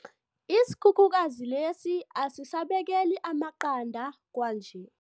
Isikhukhukazi lesi asisabekeli amaqanda kwanje.